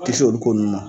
Kisi olu ko nunnu ma